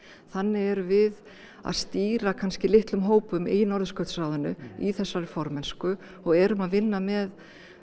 þannig erum við að stýra kannski litlum hópum í Norðurskautsráðinu í þessari formennsku og erum að vinna með